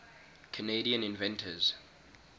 canadian inventors